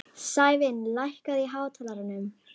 Sævin, lækkaðu í hátalaranum.